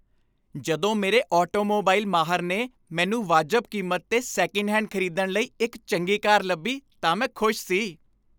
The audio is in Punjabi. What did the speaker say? ਜਦੋਂ ਮੇਰੇ ਆਟੋਮੋਬਾਈਲ ਮਾਹਰ ਨੇ ਮੈਨੂੰ ਵਾਜਬ ਕੀਮਤ 'ਤੇ ਸੈਕਿੰਡਹੈਂਡ ਖ਼ਰੀਦਣ ਲਈ ਇੱਕ ਚੰਗੀ ਕਾਰ ਲੱਭੀ ਤਾਂ ਮੈਂ ਖ਼ੁਸ਼ ਸੀ।